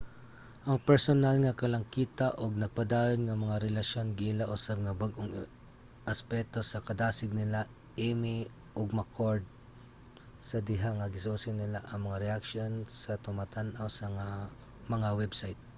ang personal nga kalangkita ug nagpadayon nga mga relasyon giila usab nga bag-ong aspeto sa kadasig nila eighmey ug mccord 1998 sa diha nga gisusi nila ang mga reaksyon sa tumatan-aw sa mga website